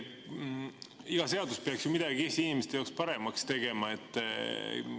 Iga seadus peaks ju midagi Eesti inimeste jaoks paremaks tegema.